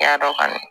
I y'a dɔn kɔni